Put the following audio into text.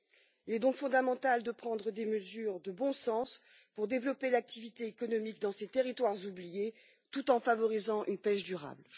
Il est donc fondamental de prendre des mesures de bon sens pour développer l'activité économique dans ces territoires oubliés, tout en favorisant une pêche durable.